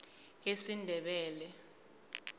esindebele